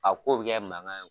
A ko bɛ kɛ mankan ye